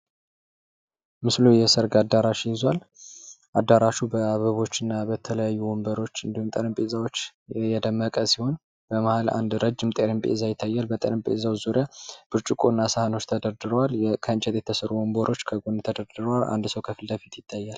ምስሉ የሰርግ አዳራሽ ይዟል። አዳራሹ በተለያዩ አበቦችና ወንበሮች እንድሁም ጠረጴዛዎች የደመቀ ሲሆን በመሀል አንድ ረጅም ጠረጴዛ ይታያል። በጠረጴዛው ዙሪያ ብርጭቆና ሰሀኖች ተደርድረዋል። ከእንጨት የተሰሩ ወንበሮች ተደርድረዋል። አንድ ሰው ከፊት ለፊት ይታያል::